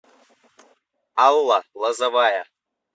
алла лозовая